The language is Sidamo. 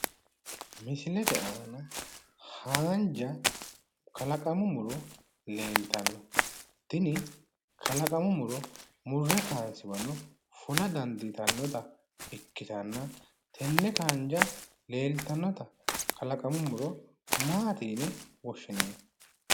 Misilete aana haanja kalaqamu muro leeltanno tini kalaqamu muro murre kaansiwano fula dandiitannota ikkitanna tenne haanja leeltannota kalaqamu muro maati yine woshshinanni?